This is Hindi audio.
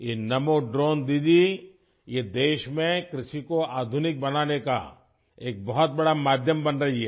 ये नमो ड्रोन दीदी ये देश में कृषि को आधुनिक बनाने का एक बहुत बड़ा माध्यम बन रही है